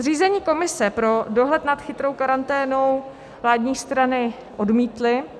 Zřízení komise pro dohled nad chytrou karanténou vládní strany odmítly.